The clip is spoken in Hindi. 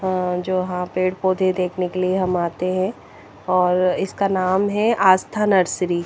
अह जो यहां पे पौधे देखने के लिए हम आते हैं और इसका नाम है आस्था नर्सरी ।